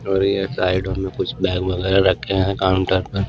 और ये साइड में कुछ बैग वगैरह रखे हैं काउंटर पर--